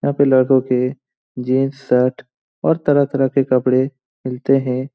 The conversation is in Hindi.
यहां पे लड़कों के जींस शर्ट और तरह-तरह के कपड़े मिलते है।